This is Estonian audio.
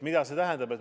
Mida see tähendab?